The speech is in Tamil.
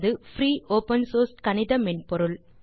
சேஜ் என்பது பிரீ open சோர்ஸ் கணித மென்பொருள்